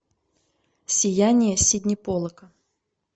сияние сидни поллака